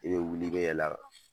I ka bɛ wuli, i bɛ yɛlɛ a kan!